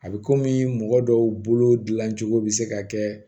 A bɛ komi mɔgɔ dɔw bolo dilancogo bɛ se ka kɛ